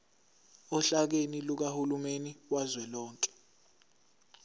ohlakeni lukahulumeni kazwelonke